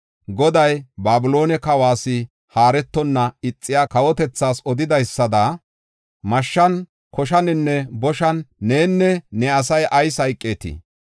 Goday Babiloone kawas haaretonna ixiya kawotethas odidaysada mashshan, koshaninne boshan nenne ne asay ayis hayqeetii?